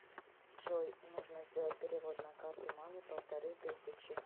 джой нужно сделать перевод на карту маме полторы тысячи